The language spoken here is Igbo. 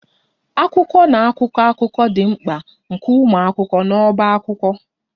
Akwụkwọ na akwụkwọ akụkọ dị mkpa nke ụmụ akwụkwọ nọ n'ọbá akwụkwọ